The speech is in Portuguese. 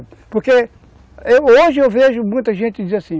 Porque, eu hoje eu vejo muita gente dizer assim,